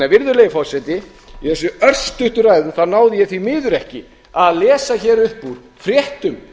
virðulegi forseti í þessari örstuttu ræðu náði ég því miður ekki að lesa upp úr fréttum